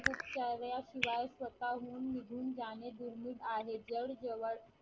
किंवा स्वतःहून निघून जाणे दुर्मिळ आहे जर जवळ